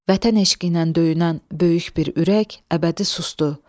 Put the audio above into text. Vətən eşqiylə döyünən böyük bir ürək əbədi susdu.